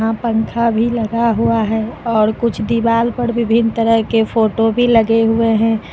पंखा भी लगा हुआ है और कुछ दीवाल पर विभिन्न तरह के फोटो भी लगे हुए हैं।